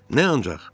Nə ancaq?